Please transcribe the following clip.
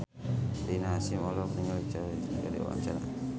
Rina Hasyim olohok ningali Choi Siwon keur diwawancara